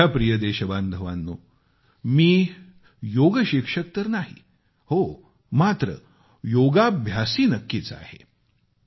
माझ्या प्रिय देशबांधवानो मी योगशिक्षक तर नाही हो मात्र योगाभ्यासी नक्कीच आहे